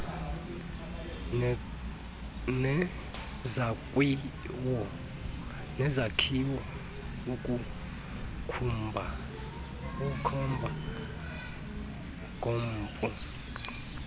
nezakhiwo ukukhomba ngompu